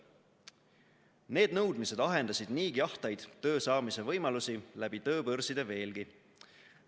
Need nõudmised ahendasid niigi ahtaid töö saamise võimalusi läbi tööbörside veelgi.